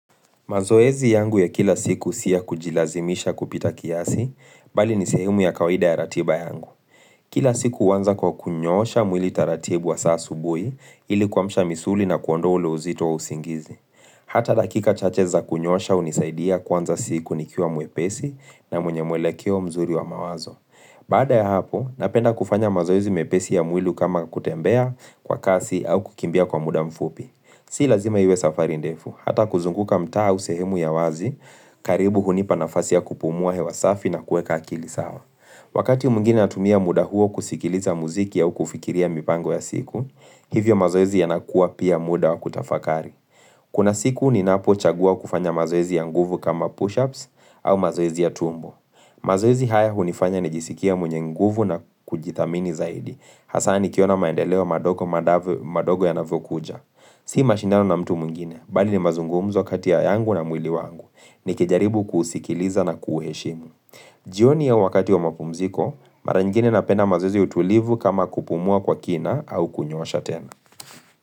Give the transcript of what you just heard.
Mazoezi yangu ya kila siku si ya kujilazimisha kupita kiasi, bali ni sehemu ya kawaida ya ratiba yangu. Kila siku huanza kwa kunyoosha mwili taratibu hasa asubuhi ili kuamsha misuli na kuondoa ule uzito wa usingizi. Hata dakika chache za kunyoosha hunisaidia kuanza siku nikiwa mwepesi na mwenye mwelekeo mzuri wa mawazo. Baada ya hapo, napenda kufanya mazoezi mepesi ya mwili kama kutembea kwa kasi au kukimbia kwa muda mfupi. Si lazima iwe safari ndefu, hata kuzunguka mtaa uu sehemu ya wazi, karibu hunipa nafasi ya kupumua hewa safi na kueka akili sawa. Wakati mwingine natumia muda huo kusikiliza muziki au kufikiria mipango ya siku, hivyo mazoezi yanakua pia muda wa kutafakari. Kuna siku ni napo chagua kufanya mazoezi ya nguvu kama push-ups au mazoezi ya tumbo. Mazoezi haya hunifanya nijisikie mwenye nguvu na kujithamini zaidi, hasa nikiona maendeleo madogo manavyo madogo yanavokuja. Si mashindano na mtu mwingine, bali ni mazungumzo kati ya yangu na mwili wangu ni kijaribu kuisikiliza na kuiheshimu jioni ya wakati wa mapumziko, mara ingine napenda mazoezi ya utulivu kama kupumua kwa kina au kunyoosha tena.